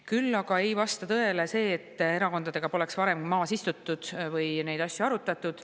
Küll aga ei vasta tõele see, et erakondadega pole varem maas istutud või neid asju arutatud.